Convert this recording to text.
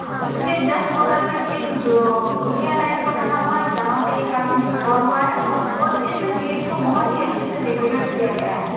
उसके जस्ट बगल में एक जो कुटिया टाइप का बना हुआ है जहाँ पे एक आदमी खड़ा है और इस गेट को बहुत ही अच्छे से डेकोरेट गया है।